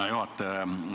Hea juhataja!